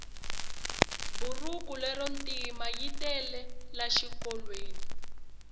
burhuku lero ntima yitele la xikolweni